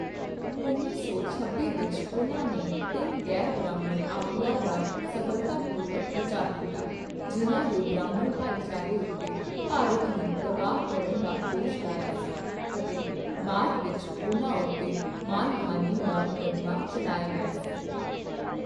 ਉੱਨੀ ਸੌ ਛੱਬੀ ਵਿੱਚ ਉਹਨਾਂ ਨੇ ਤਿੰਨ ਗ਼ੈਰਬ੍ਰਾਹਮਣ ਆਗੂਆਂ ਦਾ ਸਫ਼ਲਤਾਪੂਰਵਕ ਬਚਾਅ ਕੀਤਾ ਜਿਨ੍ਹਾਂ ਨੇ ਬ੍ਰਾਹਮਣ ਭਾਈਚਾਰੇ ਉੱਤੇ ਭਾਰਤ ਨੂੰ ਤਬਾਹ ਕਰਨ ਦਾ ਦੋਸ਼ ਲਾਇਆ ਸੀ ਅਤੇ ਬਾਅਦ ਵਿੱਚ ਉਹਨਾਂ ਉੱਤੇ ਮਾਣਹਾਨੀ ਦਾ ਮੁਕੱਦਮਾ ਚੱਲਾਇਆ ਗਿਆ ਸੀ।